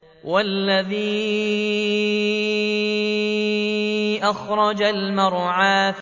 وَالَّذِي أَخْرَجَ الْمَرْعَىٰ